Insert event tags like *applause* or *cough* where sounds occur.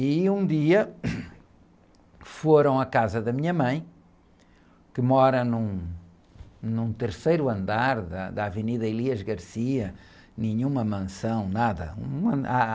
E um dia, *unintelligible* foram à casa da minha mãe, que mora num, num terceiro andar da, da Avenida, *unintelligible* nenhuma mansão, nada.